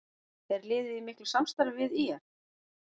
Er liðið í miklu samstarfi við ÍR?